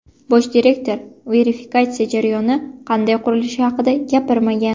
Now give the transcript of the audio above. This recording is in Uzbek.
Bosh direktor verifikatsiya jarayoni qanday qurilishi haqida gapirmagan.